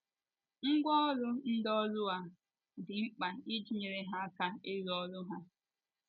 Ngwá ọrụ ndị ọrụ a, dị mkpa iji nyere ha aka ịrụ ọrụ ha.